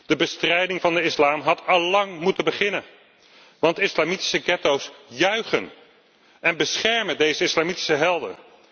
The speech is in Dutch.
De bestrijding van de islam had allang moeten beginnen, want islamitische getto's juichen en beschermen deze islamitische helden.